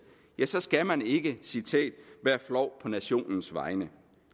så skal man ikke citerer være flov på nationens vegne